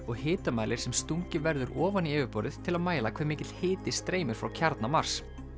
og hitamælir sem stungið verður ofan í yfirborðið til að mæla hve mikill hiti streymir frá kjarna Mars